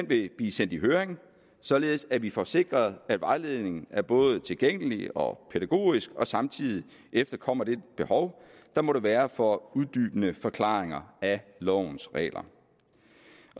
vil blive sendt i høring således at vi får sikret at vejledningen er både tilgængelig og pædagogisk og samtidig efterkommer det behov der måtte være for uddybende forklaringer af lovens regler